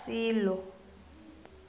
silo